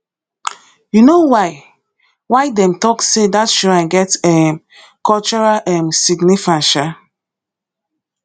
you know why why them talk say that shrine get um cultural um significance um